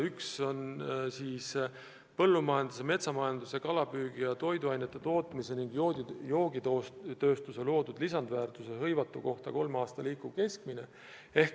Üks on põllumajanduse, metsamajanduse ja kalapüügi ja toiduainetootmise ning joogitööstuse loodud lisandväärtus hõivatu kohta, kolme aasta liikuv keskmine.